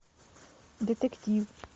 детектив